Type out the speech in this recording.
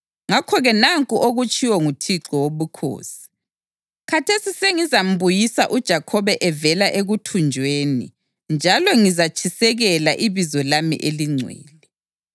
Ngakho-ke nanku okutshiwo nguThixo Wobukhosi: Khathesi sengizambuyisa uJakhobe evela ekuthunjweni njalo ngizatshisekela ibizo lami elingcwele.